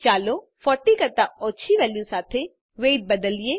ચાલો 40 કરતાં ઓછી વેલ્યુ સાથે વેઇટ બદલીએ